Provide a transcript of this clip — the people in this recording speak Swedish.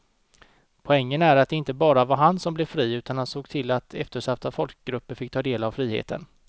Poängen är att det inte bara var han som blev fri utan han såg till att eftersatta folkgrupper fick ta del av friheten.